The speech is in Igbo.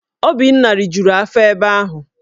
Obinna rijuru afọ ebe ahu